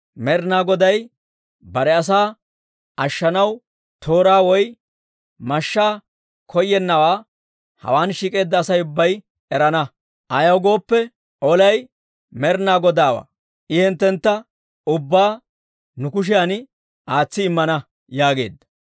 Med'inaa Goday bare asaa ashshanaw tooraa woy mashshaa koyennawaa hawaan shiik'eedda Asay ubbay erana; ayaw gooppe, olay Med'inaa Godaawaa. I hinttentta ubbaa nu kushiyan aatsi immana» yaageedda.